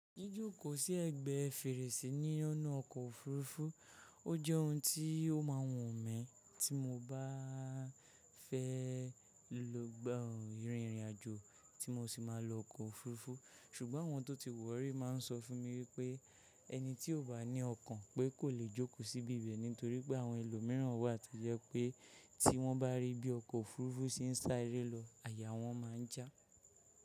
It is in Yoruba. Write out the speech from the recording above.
Jíjóko sí ẹ̀gbẹ́ fèrèsí nínu ọkọ̀ òfurufú ọ jẹ́ ohun tí ó ma wọ̀n mí tí mo bá fẹ́ lọ gbọ̀n ìrìn ìrìnàjò tí mo sì máa lọ ọkọ̀ òfurufú ṣùgbọ́n àwọn tó ti wọ̀ rí ma n sọ fún mi wípé ẹni tí ó bá ní ọkàn pé kò lè jókòó síbi ibẹ̀ nítorí pé àwọn ẹlòmíràn wà tí jẹ́ pé tí wọ́n bá rí bí ọkọ̀ òfurufú ṣe ń sá eré lọ àyà wọ́n má n jà.